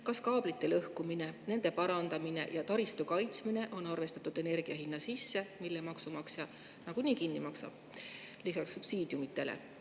Kas kaablite lõhkumine, nende parandamine ja taristu kaitsmine on arvestatud energia hinna sisse, mille maksumaksja nagunii kinni maksab lisaks subsiidiumidele?